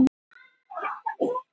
Sóma stundar, aldrei ann